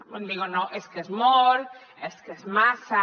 uns diuen no és que és molt és que és massa